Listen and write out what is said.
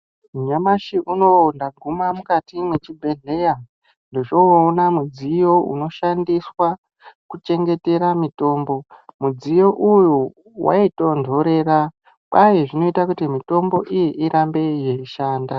Nyamashi unowu ndaguma mukati mezvibhedhlera ndochoona mudziyo unoshandiswa kuchengetera mutombo mudziyo uyu wai tonhorera kwai zvinoita kuti mitombo iyi irambe yeishanda.